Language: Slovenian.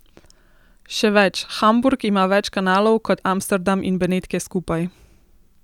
Še več, Hamburg ima več kanalov kot Amsterdam in Benetke skupaj!